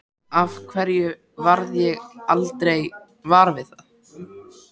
Af hverju varð ég aldrei var við það?